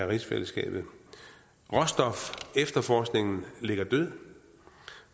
rigsfællesskabet råstofefterforskningen ligger død